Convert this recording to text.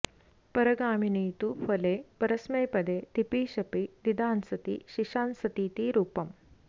परगामिनि तु फले परस्मैपदे तिपि शपि दीदांसति शीशांसतीति रूपम्